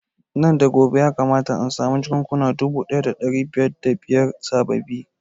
Nan da gobe ya kamata na samu jakunkuna dubu ɗaya da ɗari biyar da biyar sababbi